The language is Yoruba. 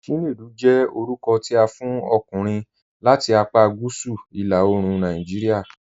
Chinedu jẹ́ orúkọ̀ tí a fún ọ̀kùnrin láti àpá Gúúsù ìlà òòrùn Nàìjíríà.